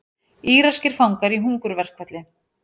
Íraskir fangar í hungurverkfalli